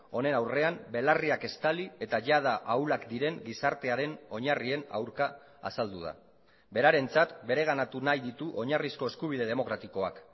honen aurrean belarriak estali eta jada ahulak diren gizartearen oinarrien aurka azaldu da berarentzat bereganatu nahi ditu oinarrizko eskubide demokratikoak